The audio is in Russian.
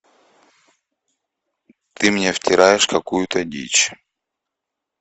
ты мне втираешь какую то дичь